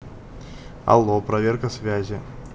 алло проверка связи